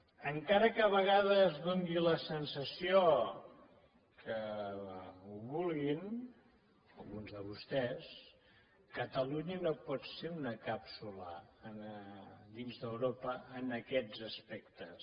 encara que a vegades doni la sensació que ho vulguin alguns de vostès catalunya no pot ser una càpsula dins d’europa en aquests aspectes